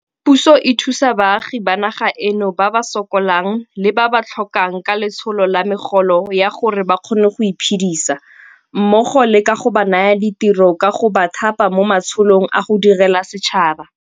Puso e thusa baagi ba naga eno ba ba sokolang le ba ba tlhokang ka letsholo la megolo ya gore ba kgone go iphedisa mmogo le ka go ba naya ditiro ka go ba thapa mo matsholong a go direla setšhaba.